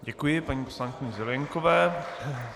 Děkuji paní poslankyni Zelienkové.